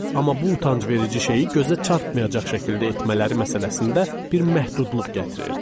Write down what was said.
Amma bu utancverici şeyi gözə çarpmayacaq şəkildə etmələri məsələsində bir məhdudluq gətirirdi.